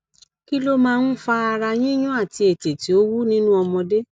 kí ló máa ń fa ara yiyun àti ètè tí ó wú nínú ọmọdé